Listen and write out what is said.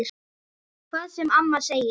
Hvað sem amma segir.